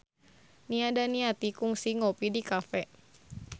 Nia Daniati kungsi ngopi di cafe